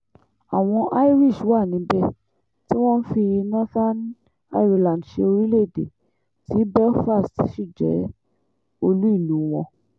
àwọn irish wà níbẹ̀ tí wọ́n ń fi northern ireland ṣe orílẹ̀ èdè tí belfast sì jẹ́ olú ìlú wọn